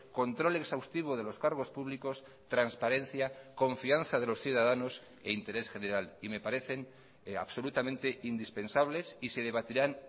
control exhaustivo de los cargos públicos transparencia confianza de los ciudadanos e interés general y me parecen absolutamente indispensables y se debatirán